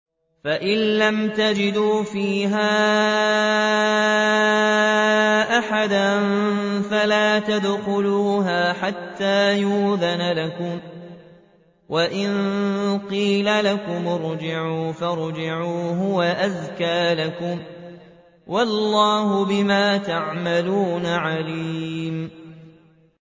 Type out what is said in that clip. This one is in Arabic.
فَإِن لَّمْ تَجِدُوا فِيهَا أَحَدًا فَلَا تَدْخُلُوهَا حَتَّىٰ يُؤْذَنَ لَكُمْ ۖ وَإِن قِيلَ لَكُمُ ارْجِعُوا فَارْجِعُوا ۖ هُوَ أَزْكَىٰ لَكُمْ ۚ وَاللَّهُ بِمَا تَعْمَلُونَ عَلِيمٌ